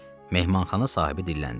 Mehmanxana sahibi dilləndi.